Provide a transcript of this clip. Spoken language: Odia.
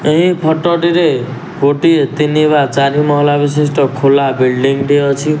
ଏଇ ଫଟ ଟିରେ ଗୋଟିଏ ତିନି ବା ଚାରି ମହଲା ବିଶିଷ୍ଟ ଖୋଲା ବିଲଡିଂ ଟେ ଅଛି।